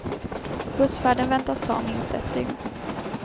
Bussfärden väntas ta minst ett dygn.